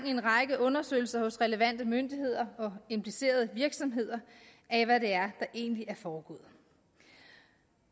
i en række undersøgelser hos relevante myndigheder og implicerede virksomheder af hvad det er der egentlig er foregået